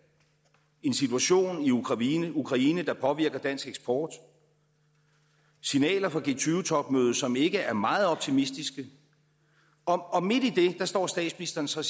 en situation i ukraine ukraine der påvirker dansk eksport signaler fra g20 topmødet som ikke er meget optimistiske og midt i det står statsministeren så